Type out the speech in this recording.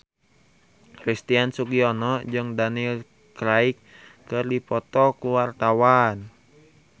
Christian Sugiono jeung Daniel Craig keur dipoto ku wartawan